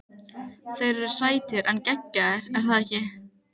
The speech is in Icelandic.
Þeir eru sætir en geggjaðir- er það ekki?